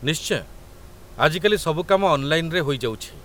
ନିଶ୍ଚୟ! ଆଜି କାଲି ସବୁ କାମ ଅନ୍‌ଲାଇନ୍‌ରେ ହୋଇଯାଉଛି